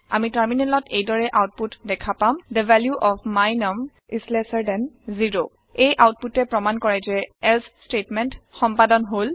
আমি টাৰমিনেলত এই দৰে আওতপুত দেখা পাম the value of my num is lesser than 0 এই আওতপুতে প্ৰমাণ কৰে যে এলছে ষ্টেটমেণ্ট সম্পাদন হল